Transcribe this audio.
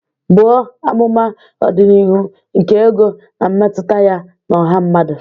Buo amụma ọdịnihu nke ego na mmetụta ya na ọha mmadụ.